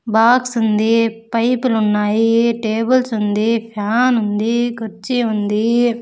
Box ఉంది pipe లు ఉన్నాయి టేబుల్స్ ఉంది ఫ్యాన్ ఉంది కర్చీ ఉంది.